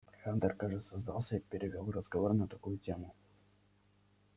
хантер кажется сдался и перевёл разговор на другую тему